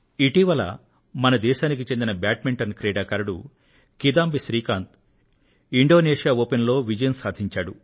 ఇటీవల మన దేశానికి చెందిన బ్యాడ్మింటన్ క్రీడాకారుడు శ్రీ కిదాంబి శ్రీకాంత్ ఇండోనేశియా ఓపెన్ లో దిగ్విజయం సాధించాడు